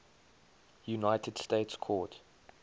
united states court